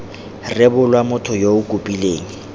rebolwa motho yo o kopileng